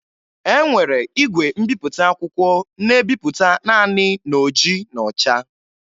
E nwere igwe mbipụta akwụkwọ na-ebipụta naanị n'oji na ọcha